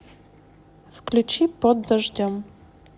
включи под дождем